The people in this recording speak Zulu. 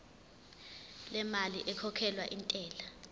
lemali ekhokhelwa intela